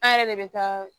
An yɛrɛ de bɛ taa